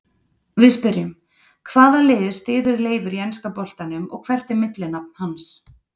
Við spyrjum: Hvaða lið styður Leifur í enska boltanum og hvert er millinafn hans?